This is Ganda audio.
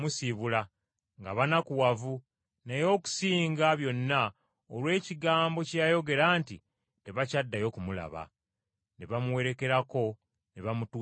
nga banakuwavu, naye okusinga byonna olw’ekigambo kye yayogera nti, Tebakyaddayo kumulaba. Ne bamuwerekerako ne bamutuusa ku kyombo.